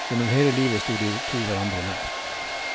Gjennom hele livet sto de to hverandre nær.